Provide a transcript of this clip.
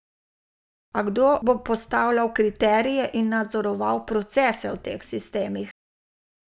A kdo bo postavljal kriterije in nadzoroval procese v teh sistemih?